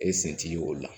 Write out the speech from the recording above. E sen t'i ye o la